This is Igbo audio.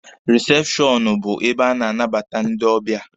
Risepshọnụ bụ ebe a na-anabata ndị ọbịa.